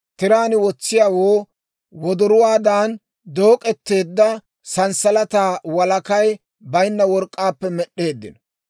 Tiraan wotsiyaawoo wodoruwaadan dook'eteedda sanssalataa walakay baynna work'k'aappe med'd'eeddino.